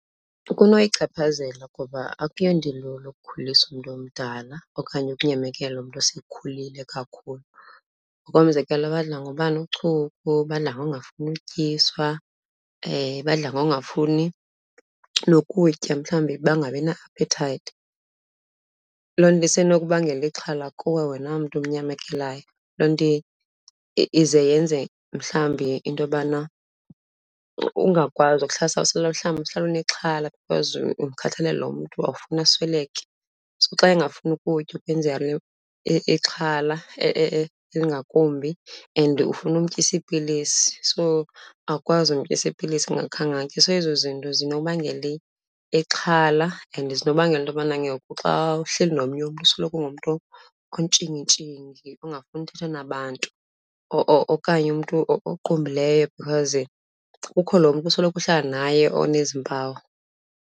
Kunoyichaphazela ngoba akuyonto ilula ukukhuliswa umntu omdala okanye ukunyamekela umntu osekhulile kakhulu. Ngokomzekelo, badla ngoba nochuku, badla ngongafuni utyiswa, badla ngongafuni nokutya mhlawumbi bangabi na-aphethayithi. Loo nto isenokubangela ixhala kuwe wena mntu umnyamekelayo, loo nto ize yenze mhlawumbi into yobana ungakwazi ukuhlaliseka, usoloko mhlawumbi uhlale unexhala because ukhathalele lo mntu, awufuni asweleke. So xa engafuni ukutya ukwenza ixhala elingakumbi and ufuna umtyisa iipilisi, so awukwazi umtyisa iipilisi engakhange atye. So ezo zinto zinokubangela ixhala and zinokubangela into yobana ngoku xa uhleli nomnye umntu usoloko ungumntu ontshingintshingi ongafuni uthetha nabantu okanye umntu oqumbileyo because kukho lo mntu usoloko uhlala naye onezi mpawu.